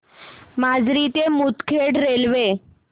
माजरी ते मुदखेड रेल्वे